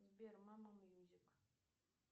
сбер мама мьюзик